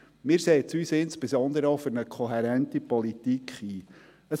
Wir setzen uns insbesondere auch für eine kohärente Politik ein.